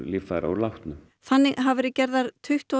líffæri úr látnum þannig hafa verið gerðar tuttugu og